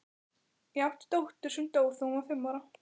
Ég átti dóttur sem dó þegar hún var fimm ára.